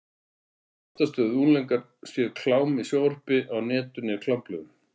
Oftast höfðu unglingarnir séð klám í sjónvarpi, á netinu eða í klámblöðum.